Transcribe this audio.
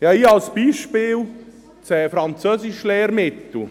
Ich habe hier als Beispiel das Französischlehrmittel;